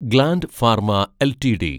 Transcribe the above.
gland Pharma LTD